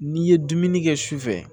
N'i ye dumuni kɛ sufɛ